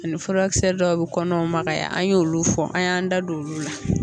ni furakisɛ dɔw bɛ kɔnɔw magaya an y'olu fɔ an y'an da don olu la.